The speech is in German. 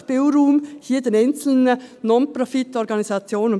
Lassen Sie hier den einzelnen Non-Profit-Organisationen den Spielraum.